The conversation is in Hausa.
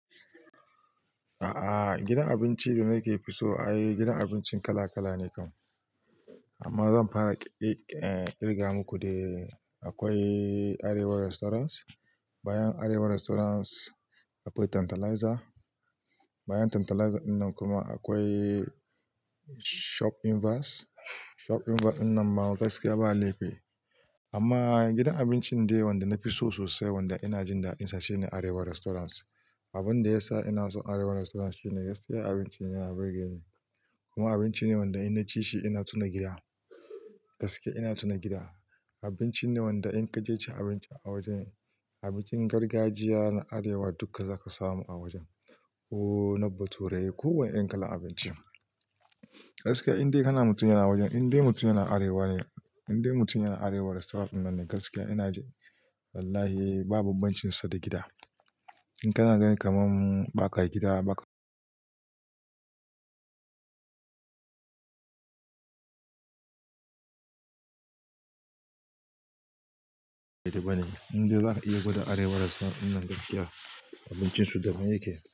A'a, gidan abinci da nake fi so, ai gidan abincin kala kala ne kam. Amma zan fara ƙirga muku dai. Akwai Arewa Restaurant, bayan Arewa Restaurant akwai Tantalizer, bayan Tantalizer dinnan kuma akwai Shop in Vast. Shop in Vast dinnan ma gaskiya ba laifi. Amma gidan abincin dai wanda na fi so sosai, wanda ina jin da'insa shine Arewa Restaurant. Abin da ya sa ina son Arewa Restaurant shine gaskiya abinci yana birge ni kuma abinci ne wanda ina ci shi ina tuna gida. Gaskiya ina tuna gida. Abinci ne wanda in ka je cin abinci a wajen, abincin gargajiya na arewa duka zaka samu a wajen, ko na bature, ko wane irin kalar abinci. Gaskiya in dai kana mutum yana wajen, in dai mutum yana arewa ne, in dai mutum yana arewa Restaurant dinnan ne, gaskiya ina ji wallahi ba babban cin sa da gida. In kana gani kaman baka gida ba ka Inda zaka iya gwada Arewa Restaurant dinnan gaskiya abincin su daban yake.